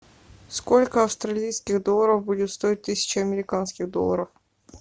сколько австралийских долларов будет стоить тысяча американских долларов